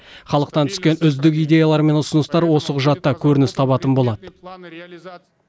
халықтан түскен үздік идеялар мен ұсыныстар осы құжатта көрініс табатын болады